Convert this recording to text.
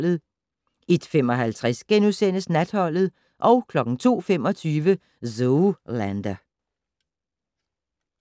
01:55: Natholdet * 02:25: Zoolander